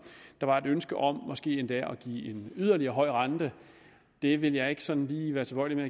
der var et ønske om måske endda at give en yderligere høj rente det vil jeg ikke sådan lige være tilbøjelig